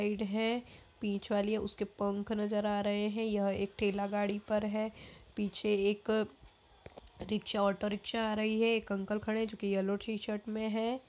है बीच वाली है उसके पंख नजर आ रहे है। यह एक ठेला गाड़ी पर है। पीछे एक रिक्सा एक ऑटो रिक्सा आ रही है। एक अंकल खड़े है जो की येलॉ टी शर्ट मे है।